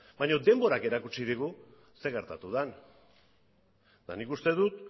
baina denborak erakutsi digu zer gertatu den eta nik uste dut